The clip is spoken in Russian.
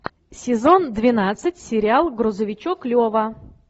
сезон двенадцать сериал грузовичок лева